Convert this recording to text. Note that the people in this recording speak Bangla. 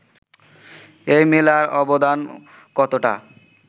এই মেলার অবদান কতটা